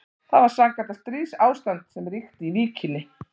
Það var sannkallað stríðsástand sem ríkti í Víkinni.